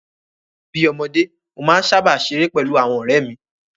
Bí ọmọdé, mo máa ń sáábà ṣeré pẹ̀lú àwọn ọ̀rẹ́ mi